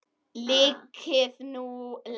Liðkið nú legg!